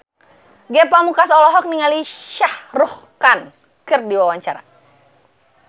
Ge Pamungkas olohok ningali Shah Rukh Khan keur diwawancara